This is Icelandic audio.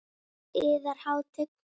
Yðar Hátign!